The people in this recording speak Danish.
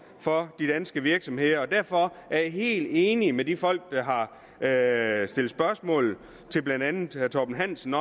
for de danske virksomheder derfor er jeg helt enig med de folk der har stillet spørgsmål til blandt andet herre torben hansen